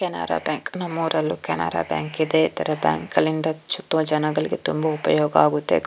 Canara bank ನಮ್ಮೂರಲ್ಲೂ Canara bank ಇದೆ ತರ ಬ್ಯಾಂಕ್ ಗಳಿಂದ ಸುತ್ತ ಜನಗಳಿಗೆ ತುಂಬಾ ಉಪಯೋಗ ಆಗುತ್ತೆ .